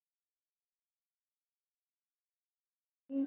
Skýrist breytingin af gengisbreytingum